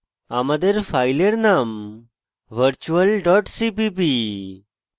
আমাদের file name virtual dot cpp